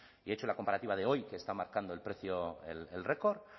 y he hecho la comparativa de hoy que está marcando el precio el récord